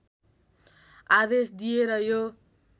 आदेश दिए र यो